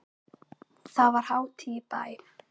Þá var hátíð í bæ.